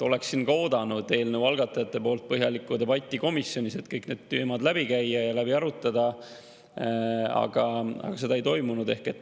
Oleksin ka oodanud eelnõu algatajate poolt põhjalikku debatti komisjonis, et kõik need teemad läbi käia ja läbi arutada, aga seda ei toimunud.